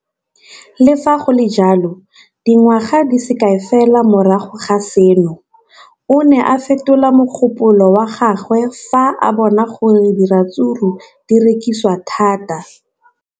Le fa go le jalo, dingwaga di se kae fela morago ga seno, o ne a fetola mogopolo wa gagwe fa a bona gore diratsuru di rekisiwa thata.